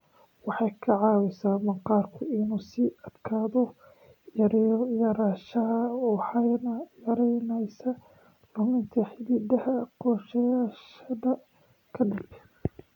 Waxay ka caawisaa maqaarku inuu sii adkaado, yareeyo yaraanshaha waxayna yaraynaysaa luminta xididdada goosashada ka dib."